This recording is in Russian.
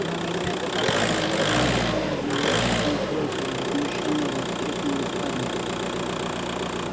ну меня-то по крайней мере ещё ни одна лошадь не сбросила возмущённо воскликнула скарлетт